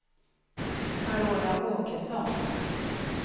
Carola Åkesson